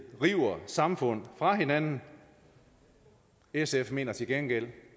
river samfund fra hinanden sf mener til gengæld